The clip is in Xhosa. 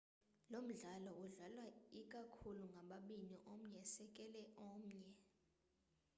lomdlalo udlalwa ikakhulu ngababini omnye esekela omnye